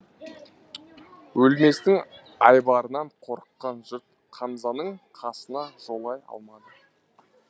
өлместің айбарынан қорыққан жұрт қамзаның қасына жолай алмады